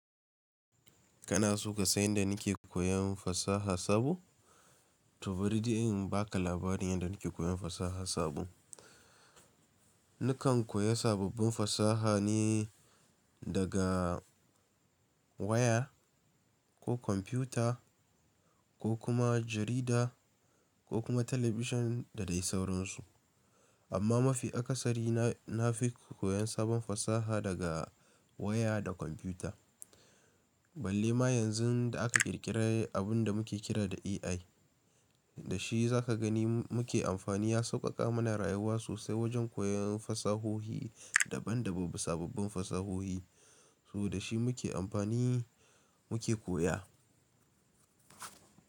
Kana so ka san yadda nike koyan fasaha sabo? To bari ji in baka labarin yadda nike koyan fasaha sabo. Nakan koya sababbin fasaha ne daga waya, ko kwamfuta, ko kuma jarida, ko kuma television da dai sauransu. Amma mafi akasari na fi koyan sabon fasaha daga waya da kwamfuta. Balle ma yanzu da aka ƙirƙire abun da muke kira da AI, da shi za ka gani muke amfani ya sauƙaƙa mana rayuwa sosai wajen koyan fasahohi daban daban, sababbin fasahohi. So da shi muke amfani muke koya.